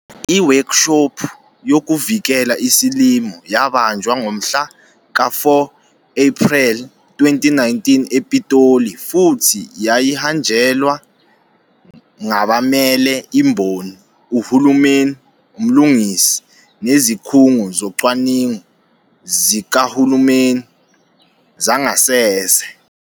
Iwekshophu yoKuvikela iSilimo yabanjwa ngomhla ka-4 Ephrel 2019 ePitoli futhi yayihanjelwe ngabamele imboni, uhulumeni, umlungisi, nezikhungo zocwaningo zikahulumeni, zangasese.